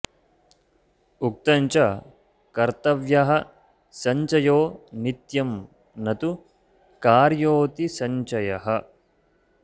उक्तं च कर्तव्यः सञ्चयो नित्यं न तु कार्योऽतिसञ्चयः